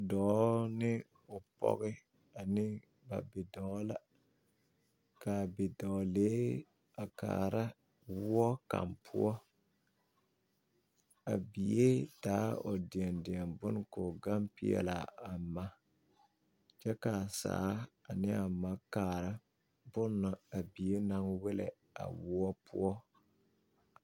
Dɔɔ ne o pɔɡe ane ba bidɔɔ la ka a bidɔɔlee a kaara woɔ kaŋ poɔ a bie taa o deɛdeɛ bon ka o ɡaŋ peɛle a ma kyɛ ka a saa ne a ma kaara bon na a bie na wellɛ a woɔ poɔ.